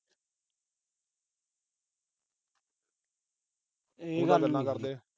ਗੱਲ ਨ ਕਰਦੇ।